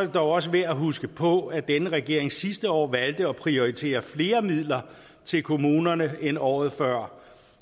det dog også værd at huske på at denne regering sidste år valgte at prioritere flere midler til kommunerne end året før